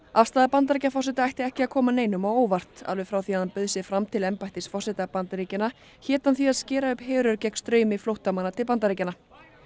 afstaða Bandaríkjaforseta ætti ekki koma neinum á óvart alveg frá því að hann bauð sig fram til embættis forseta Bandaríkjanna hét hann því að skera upp herör gegn straumi flóttamanna til Bandaríkjanna